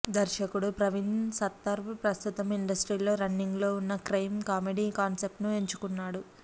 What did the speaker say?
దర్శకుడు ప్రవీణ్ సత్తారు ప్రస్తుతం ఇండస్ట్రీలో రన్నింగులో ఉన్న క్రైమ్ కామెడీ కాన్సెప్టును ఎంచుకున్నాడు